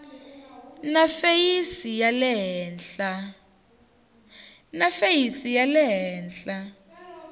na feyisi ya le henhla